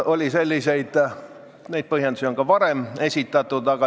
Neid põhjendusi on ka varem esitatud.